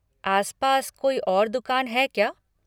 आसपास कोई और दुकान है क्या?